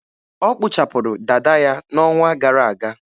Ọ kpụchapụrụ dada ya n'ọnwa gara aga.